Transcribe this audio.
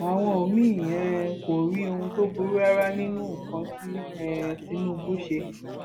àwọn míín um kò rí ohun tó burú rárá nínú nǹkan tí um tinubu ṣe